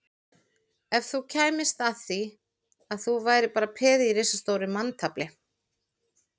Ef þú kæmist að því að þú værir bara peð í risastóru manntafli